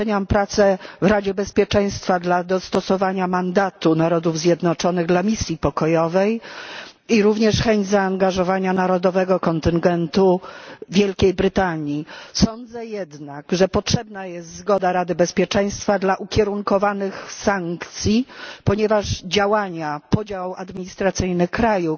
Doceniam pracę w Radzie Bezpieczeństwa na rzecz dostosowania mandatu Narodów Zjednoczonych dla misji pokojowej i również chęć zaangażowania narodowego kontyngentu Wielkiej Brytanii. Sądzę jednak, że potrzebna jest zgoda Rady Bezpieczeństwa na ukierunkowane sankcje, ponieważ działania podział administracyjny kraju